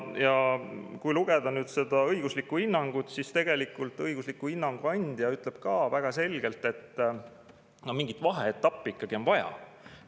Kui lugeda seda õiguslikku hinnangut, siis tegelikult õigusliku hinnangu andja ütleb ka väga selgelt, et mingit vaheetappi ikkagi on vaja.